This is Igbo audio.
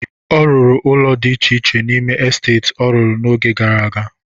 Ọ rụrụ ụnọ dị iche iche n'ime esteti ọ rụrụ n'oge gara aga.